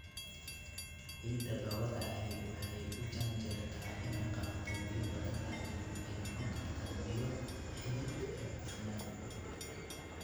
Ciidda dhoobada ahi waxay u janjeertaa inay qabato biyo badan laakiin waxay noqon kartaa biyo xidhid iyo cufnaan.